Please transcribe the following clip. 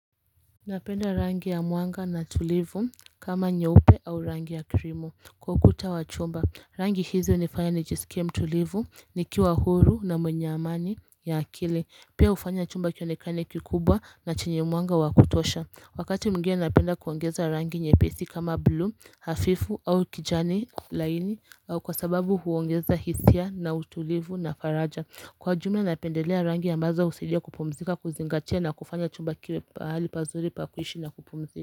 Napenda rangi ya mwanga na tulivu kama nyeupe au rangi ya krimu kwa ukuta wa chumba rangi hizi hunifanya nijisikie mtulivu nikiwa huru na mwenye amani ya akili pia hufanya chumba kionekane kikubwa na chenye mwanga wa kutosha. Wakati mwingine napenda kuongeza rangi nyepesi kama blue hafifu au kijani laini au kwa sababu huongeza hisia na utulivu na faraja Kwa jumla napendelea rangi ambazo husaidia kupumzika kuzingatia na kufanya chumba kiwe pahali pazuri pa kuishi na kupumzika.